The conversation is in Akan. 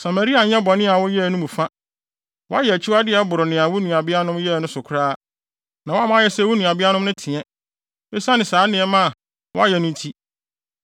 Samaria anyɛ bɔne a woyɛɛ no mu fa. Woayɛ akyiwade a ɛboro nea wo nuabeanom no yɛe no so koraa, na woama ayɛ sɛ wo nuabeanom no te, esiane saa nneɛma a woayɛ no nti.